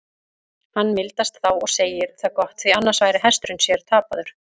Hann mildast þá og segir það gott, því annars væri hesturinn sér tapaður.